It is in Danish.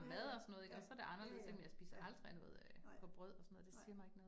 Ja ja, ja, ja ja, ja, nej, nej